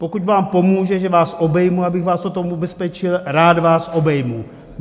Pokud vám pomůže, že vás obejmu, abych vás o tom ubezpečil, rád vás obejmu.